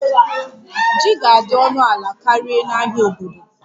Ji ga-adị ọnụ ala karịa na ahịa obodo